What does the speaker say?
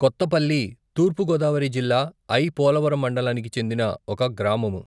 కొత్తపల్లి, తూర్పు గోదావరి జిల్లా ఐ.పోలవరం మండలానికి చెందిన ఒక గ్రామము.